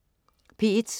P1: